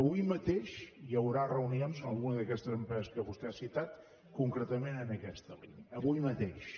avui mateix hi haurà reunions amb alguna d’aquestes empreses que vostè ha citat concretament en aquesta línia avui mateix